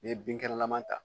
N ye binkɛnɛlama ta